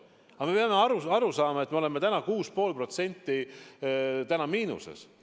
Aga me peame aru saama, et me oleme täna 6,5% miinuses.